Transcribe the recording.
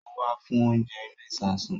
Ó wá fún oúnjẹ inú ìsasùn